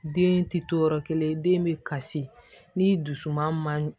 Den ti to yɔrɔ kelen den be kasi ni dusu man ɲi